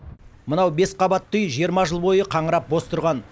мынау бес қабатты үй жиырма жыл бойы қаңырап бос тұрған